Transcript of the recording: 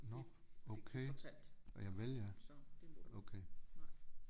Det fik vi fortalt så det må du ikke nej